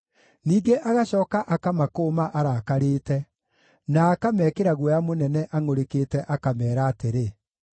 Ningĩ agacooka akamakũũma arakarĩte, na akamekĩra guoya mũnene angʼũrĩkĩte akameera atĩrĩ,